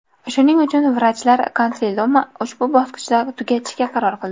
Shuning uchun vrachlar konsiliumi ushbu bosqichda tugatishga qaror qildi”.